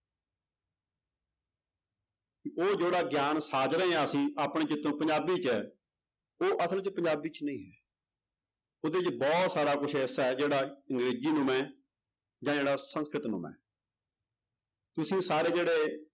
ਉਹ ਜਿਹੜਾ ਗਿਆਨ ਸਾਜ ਰਹੇ ਹਾਂ ਅਸੀਂ ਆਪਣੇ ਚਿੱਤੋਂ ਪੰਜਾਬੀ ਚ ਉਹ ਅਸਲ ਚ ਪੰਜਾਬੀ ਚ ਨਹੀਂ ਹੈ ਉਹਦੇ ਚ ਬਹੁਤ ਸਾਰਾ ਕੁਛ ਐਸਾ ਹੈ ਜਿਹੜਾ ਅੰਗਰੇਜ਼ੀ ਨੁਮਾ ਹੈ ਜਾਂ ਜਿਹੜਾ ਸੰਸਕ੍ਰਿਤ ਨੁਮਾ ਹੈ ਤੁਸੀਂ ਸਾਰੇ ਜਿਹੜੇ